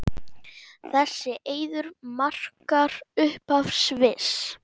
Þessi eiður markar upphaf Sviss.